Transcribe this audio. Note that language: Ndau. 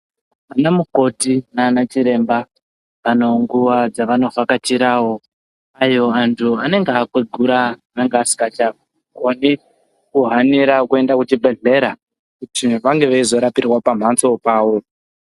Vana mukoti nana chiremba vane nguwawo dzavanovhakachira aiwa antu anenge akwegura anenge asingachakoni kuhanira kuenda kuchibhedhlera kuti vange veizorapirwa pambatso pawo.